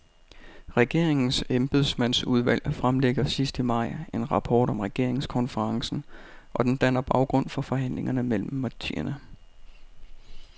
Regeringens embedsmandsudvalg fremlægger sidst i maj en rapport om regeringskonferencen, og den danner baggrund for forhandlingerne mellem partierne.